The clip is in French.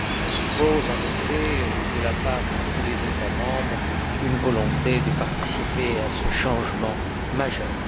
présuppose, de la part de tous les États membres, une volonté de participer à ce changement majeur.